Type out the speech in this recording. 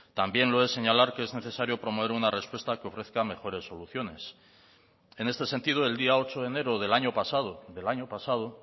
también lo es señalar que es necesario promover una respuesta que ofrezca mejores soluciones en este sentido el día ocho de enero del año pasado del año pasado